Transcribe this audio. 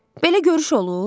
Belə görüş olur?